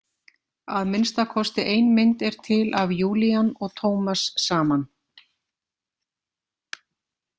Að minnsta kosti ein mynd er til af Julian og Thomas saman.